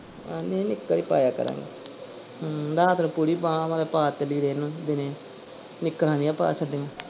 ਆਹੋ ਨਹੀਂ ਨਿਕ ਹੀ ਪਾਇਆ ਕਰਾਂਗੇ ਹਮ ਰਾਤ ਨੂੰ ਪੂਰੀ ਬਾਂਹ ਵਾਲੇ ਪਾ ਦਿੱਤੇ ਲੀੜੇ ਇਹਨੂੰ ਦੀਨੇ ਨਿਕਰਾਂ ਜਹੀਆਂ ਪਾ ਛੱਡੀਆਂ।